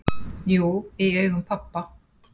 """Jú, í augum pabba"""